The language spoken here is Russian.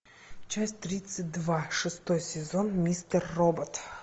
часть тридцать два шестой сезон мистер робот